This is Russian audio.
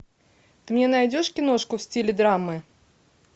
ты мне найдешь киношку в стиле драмы